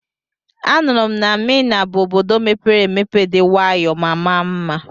Anụrụ m na Mina bụ Obodo mepere emepe dị nwayọọ ma maa mma.